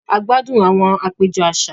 A gbádùn àwon àpéjọ àṣà